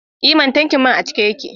E mana! tankin man a cike yake.